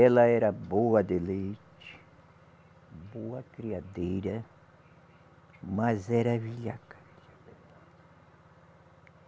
Ela era boa de leite, boa criadeira, mas era velhaca.